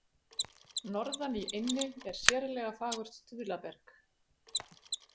Norðan í eynni er sérlega fagurt stuðlaberg.